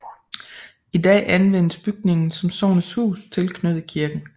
I dag anvendes bygningen som Sognets Hus tilknyttet kirken